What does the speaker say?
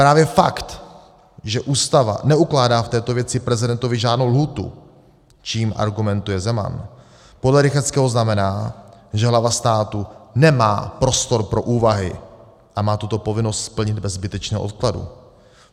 Právě fakt, že Ústava neukládá v této věci prezidentovi žádnou lhůtu, čímž argumentuje Zeman, podle Rychetského znamená, že hlava státu nemá prostor pro úvahy a má tuto povinnost splnit bez zbytečného odkladu.